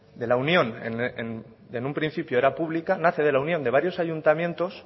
de lo que en un principio era pública nace de la unión de varios ayuntamientos